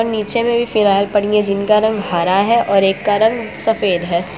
नीचे मे भी फिनायल पड़ी हैं जिनका रंग हरा है और एक का रंग सफेद है।